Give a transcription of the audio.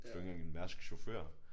Altså det var ikke engang en Mærsk chauffør